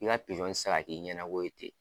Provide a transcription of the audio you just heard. I ka pizɔn tɛ se ka k'i ɲɛnako ye ten